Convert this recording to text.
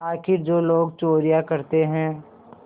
आखिर जो लोग चोरियॉँ करते हैं